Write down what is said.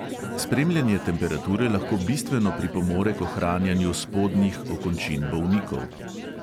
Spremljanje temperature lahko bistveno pripomore k ohranjanju spodnjih okončin bolnikov.